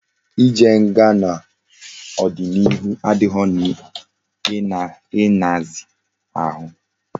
I jee nga na odi na ihu adighi na nhazi ahu